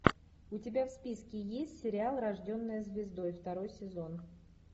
у тебя в списке есть сериал рожденная звездой второй сезон